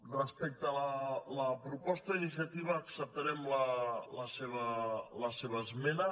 respecte a la proposta d’iniciativa acceptarem la seva esmena